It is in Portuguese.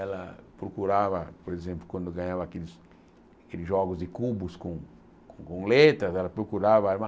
Ela procurava, por exemplo, quando ganhava aqueles jogos de cubos com com letras, ela procurava. Era uma